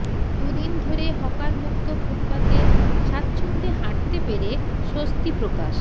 দুদিন ধরে হকারমুক্ত ফুটপাতে স্বাচ্ছন্দ্যে হাঁটতে পেরে স্বস্তি প্রকাশ